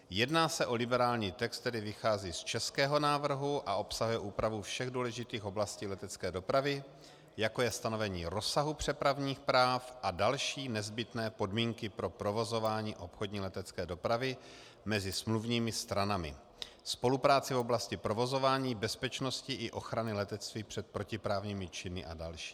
Jedná se o liberální text, který vychází z českého návrhu a obsahuje úpravu všech důležitých oblastí letecké dopravy, jako je stanovení rozsahu přepravních práv a další nezbytné podmínky pro provozování obchodní letecké dopravy mezi smluvními stranami, spolupráci v oblasti provozování, bezpečnosti i ochrany letectví před protiprávními činy a další.